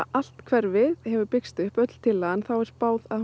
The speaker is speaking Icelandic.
allt hverfið hefur byggst upp öll tillagan er spáð að